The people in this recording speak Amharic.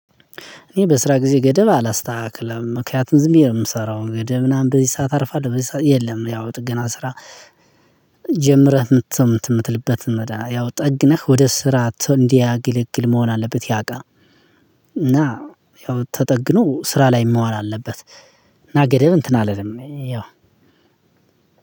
እኔ በስራ ጊዜ ገደብ አላስተካክለም። ምክንያቱም ዝምብዬ ነው የምሰራው ገደብ ምናምን በዚህ ሰዓት አርፋለሁ፣ በዚህ ሰዓት የለም። ያው ጥገና ስራ ጀምረህ የምት ምት የምትልበትን መድሃ ያው ጠግነህ ወደ ስራ እንዲያገለግል መሆን አለበት ያ እቃ። እና ያው ተጠግኖ ስራ ላይ መዋል አለበት። እና ገደብ እንትን አለንም ያው